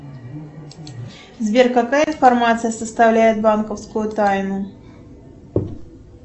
сбер какая информация составляет банковскую тайну